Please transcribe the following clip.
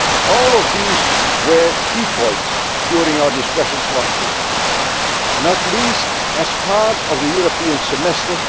All of these were key points during our discussions last week, not least as part of the European Semester